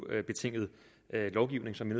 er eu betinget lovgivning som vi